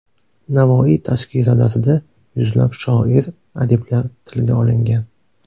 Navoiy tazkiralarida yuzlab shoir, adiblar tilga olingan.